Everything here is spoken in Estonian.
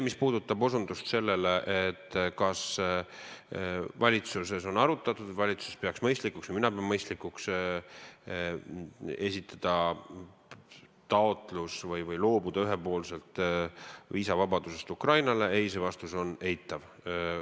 Mis puudutab seda, kas valitsuses on asja arutatud ja kas valitsus peab mõistlikuks või kas mina pean mõistlikuks esitada taotlus loobuda ühepoolselt viisavabadusest Ukrainaga, siis see vastus on eitav.